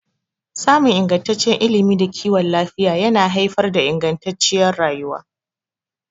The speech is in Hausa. Samun ingantaccen ilimi da kiwon lafiya yana haifar da ingantacciyar rayuwa.